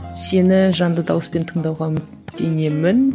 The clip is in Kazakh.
сені жанды дауыспен тыңдауға үміттенемін